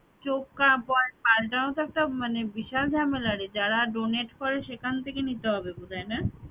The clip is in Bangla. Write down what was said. চোখ প~ পালটানো তো একটা মানে বিশাল ঝামেলা রে যারা donate সেখান থেকে নিতে হবে বোধহয় না